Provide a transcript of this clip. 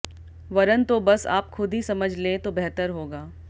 वरन तो बस आप खुद ही समझ लें तो बेहतर होगा